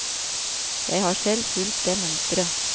Jeg har selv fulgt det mønsteret.